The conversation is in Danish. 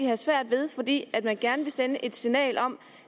have svært ved fordi man gerne vil sende et signal om